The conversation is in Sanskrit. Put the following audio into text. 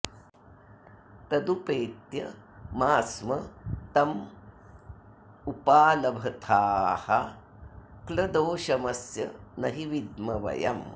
तदुपेत्य मा स्म तमुपालभथाः क्ल दोषमस्य न हि विद्म वयम्